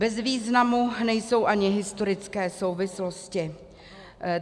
Bez významu nejsou ani historické souvislosti.